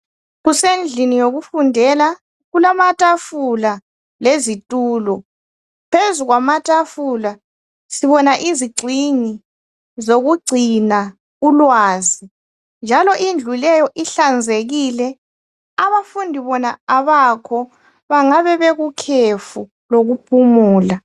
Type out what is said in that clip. Kusendlini yokufundela. Kulamatafula lezithulo. Phezu kwamatafula sibona izingcingi zokugcina ulwazi njalo indlu leyo ihlanzekile. Abafundi bona abakho. Bangabe bekukhefu lokuphumula.